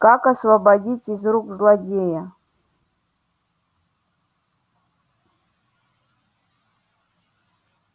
как освободить из рук злодея